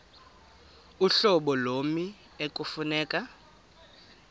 uhlobo lommi ekufuneka